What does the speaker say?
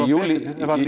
júní